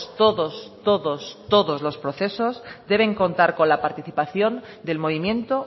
todos todos todos los procesos deben contar la participación del movimiento